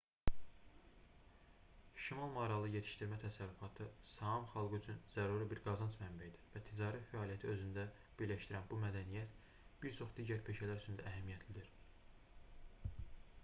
şimal maralı yetişdirmə təsərrüfatı saam xalqı üçün zəruri bir qazanc mənbəyidir və ticari fəaliyyəti özündə birləşdirən bu mədəniyyət bir çox digər peşələr üçün də əhəmiyyətlidir